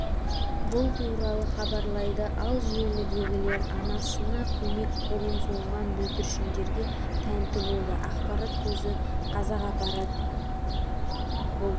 бұл туралы хабарлайды ал желідегілер анасына көмек қолын созған бүлдіршіндерге тәнті болды ақпарат көзі қазақпарат бұл